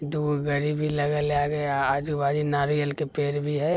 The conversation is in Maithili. दू गो गाड़ी भी लगल है आगे आजू-बाजू नारियल के पेड़ भी है।